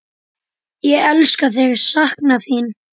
Ég elska þig, sakna þín.